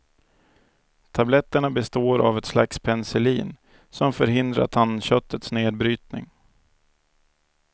Tabletterna består av ett slags penicillin, som förhindrar tandköttets nedbrytning.